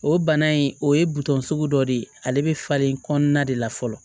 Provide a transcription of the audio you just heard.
O bana in o ye buton sugu dɔ de ye ale be falen kɔnɔna de la fɔlɔ